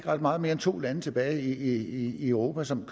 er ret meget mere end to lande tilbage i europa som